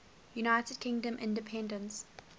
united kingdom independence